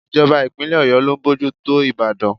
It's the government of Oyo State that is overseeing the city of Ìbàdàn.